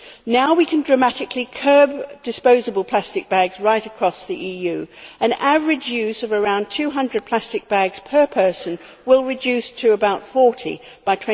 Now we can dramatically curb disposable plastic bags right across the EU. The average use of around 200 plastic bags per person will reduce to about 40 by